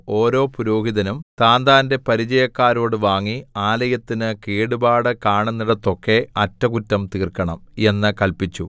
ഓരോ പുരോഹിതനും താന്താന്റെ പരിചയക്കാരോട് വാങ്ങി ആലയത്തിന് കേടുപാട് കാണുന്നിടത്തൊക്കെ അറ്റകുറ്റം തീർക്കണം എന്ന് കല്പിച്ചു